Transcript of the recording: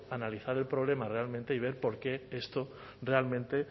analizar el problema realmente y ver por qué esto realmente